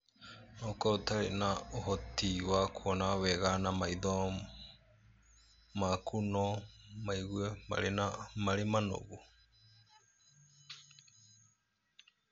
No ũkorũo ũtarĩ ũhoti wa kuona wega, na maitho maku no maigue marĩ manogu.